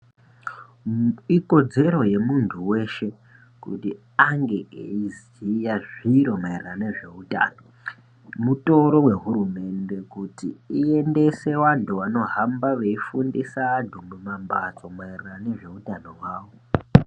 Ikodzero yemuntu weshe kuti ange eiziya zviro maererano nezveutano mutoro wehurumende kuti iendese vantu vanohamba veifundisa antu mumambatso maererano nezveutano hwavo